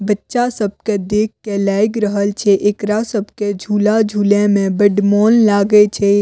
बच्चा सब के देख कर लाईग रहल छे एकरा सब के झूला-झूले में बड मौन लगे छे।